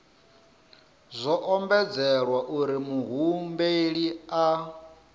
zwo ombedzelwa uri muhumbeli a